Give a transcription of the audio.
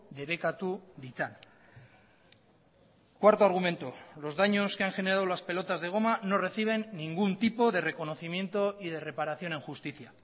debekatu ditzan cuarto argumento los daños que han generado las pelotas de goma no reciben ningún tipo de reconocimiento y de reparación en justicia